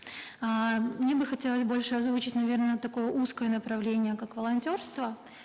эээ мне бы хотелось больше озвучить наверно такое узкое направление как волонтерство